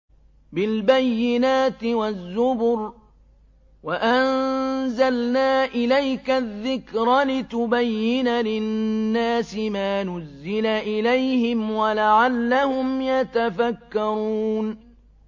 بِالْبَيِّنَاتِ وَالزُّبُرِ ۗ وَأَنزَلْنَا إِلَيْكَ الذِّكْرَ لِتُبَيِّنَ لِلنَّاسِ مَا نُزِّلَ إِلَيْهِمْ وَلَعَلَّهُمْ يَتَفَكَّرُونَ